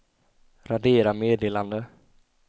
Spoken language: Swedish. radera meddelande